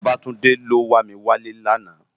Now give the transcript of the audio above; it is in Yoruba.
Babatunde ló wá mi wá lè làná